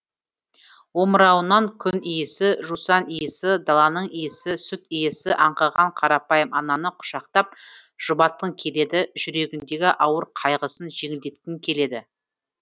омырауынан күн иісі жусан иісі даланың иісі сүт иісі аңқыған қарапайым ананы құшақтап жұбатқың келеді жүрегіндегі ауыр қайғысын жеңілдеткің келеді